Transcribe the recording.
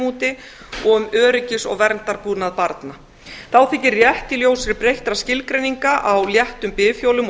úti og um öryggis og verndarbúnað barna þá þykir rétt í ljósi breyttra skilgreininga á léttum bifhjólum og